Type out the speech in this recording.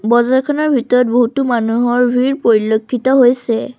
বজাৰখনৰ ভিতৰত বহুতো মানুহৰ ভিৰ পৰিলক্ষিত হৈছে।